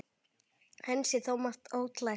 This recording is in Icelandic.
Enn sé þó margt ólært.